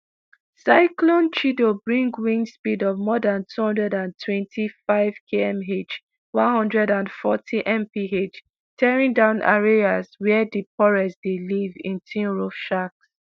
cyclone chido bring wind speed of more dan two hundred and twenty-fivekmh one hundred and fortymph tearing down areas wia di poorest dey live in tinroof shacks